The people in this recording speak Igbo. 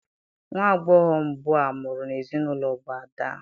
Nwa agbọghọ mbụ a mụrụ n'ezinaụlọ bụ ada.